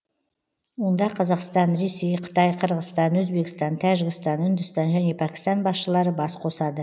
онда қазақстан ресей қытай қырғызстан өзбекстан тәжікстан үндістан және пәкістан басшылары бас қосады